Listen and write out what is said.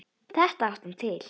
Þetta átti hann til.